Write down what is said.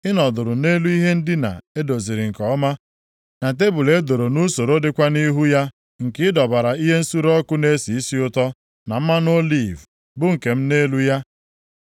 Ị nọdụrụ nʼelu ihe ndina e doziri nke ọma, na tebul e doro nʼusoro dịkwa nʼihu ya nke ị dọbara ihe nsure ọkụ na-esi isi ụtọ na mmanụ oliv bụ nke m nʼelu ya.